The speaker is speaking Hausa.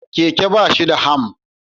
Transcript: Keke ba shi da ham